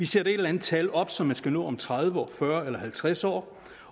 sætter et eller andet tal op som man skal nå om tredive år fyrre år eller halvtreds år